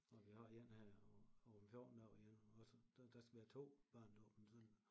Og vi har én her om om 14 dage igen også der der skal vi have 2 barnedåb en søndag